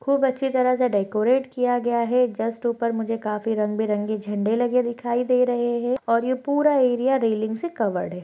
खूब अच्छे तरह से डेकोरेट किया गया है जस्ट ऊपर मुझे काफी रंग -बिरंगे झंडे लगे दिखाई दे रहे है और ये पूरा एरिया रेलिंग से कवर्ड है।